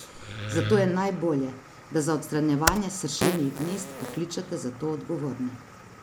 Zato je najbolje, da za odstranjevanje sršenjih gnezd pokličete za to odgovorne.